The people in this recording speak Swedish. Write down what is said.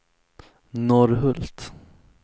Norrhult